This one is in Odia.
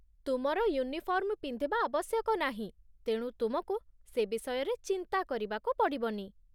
ତୁମର ୟୁନିଫର୍ମ ପିନ୍ଧିବା ଆବଶ୍ୟକ ନାହିଁ, ତେଣୁ ତୁମକୁ ସେ ବିଷୟରେ ଚିନ୍ତା କରିବାକୁ ପଡ଼ିବନି।